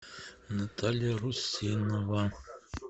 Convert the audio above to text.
наталья русинова